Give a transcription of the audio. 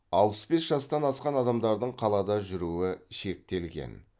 алпыс бес жастан асқан адамдардың қалада жүруі шектелген